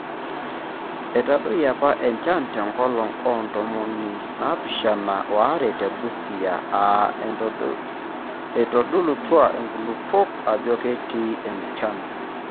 Etadoyie apa enchan te nkolong oo ntomoni naapishana waare te Busia aa eitodolutua nkulupuok ajo eikiti enchalan.